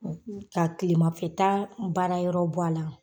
Ka tilemafɛta baara yɔrɔ b' a la.